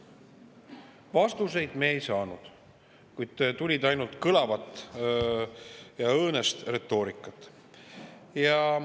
Vastuseid me ei saanud, tuli ainult kõlavat ja õõnest retoorikat.